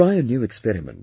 Try a new experiment